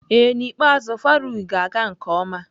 Ee n'ikpeazụ Faruq ga-aga nke ọma.